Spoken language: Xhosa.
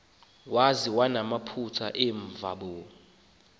kobekho konwaba nakamva